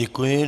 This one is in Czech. Děkuji.